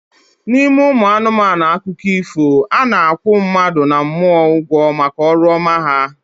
N'ime ụmụ anụmanụ akụkọ ifo, a na-akwụ mmadụ na mmụọ ụgwọ maka ọrụ ọma ha